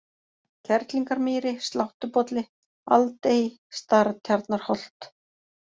Kerlingarmýri, Sláttubolli, Aldey, Startjarnarholt